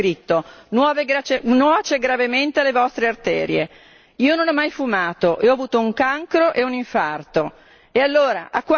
Allora su ogni uovo andrebbe scritto nuoce gravemente alle vostre arterie, io non ho mai fumato e ho avuto un cancro e un infarto!